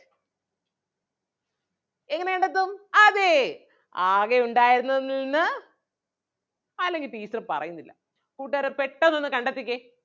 എങ്ങനെ കണ്ടെത്തും അതേ ആകെ ഉണ്ടാരുന്നതിൽ നിന്ന് അല്ലെങ്കിൽ teacher പറയുന്നില്ല കൂട്ടുകാരെ പെട്ടെന്ന് ഒന്ന് കണ്ടെത്തിക്കേ.